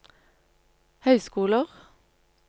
høyskoler